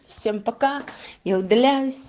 всем пока я удивляюсь